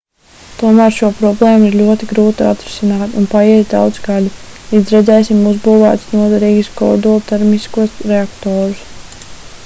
tomēr šo problēmu ir ļoti grūti atrisināt un paies daudzi gadi līdz redzēsim uzbūvētus noderīgus kodoltermiskos reaktorus